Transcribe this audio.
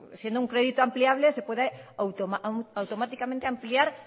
siendo un crédito ampliable se puede automáticamente ampliar